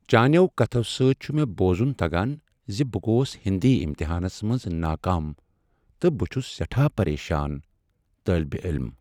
چانِیو کتھو سۭتۍ چھُ مےٚ بوزُن تگان ز بہٕ گوس ہندی امتحانس منٛز ناکام تہٕ بہٕ چُھس سیٹھاہ پریشان، طٲلبِ علم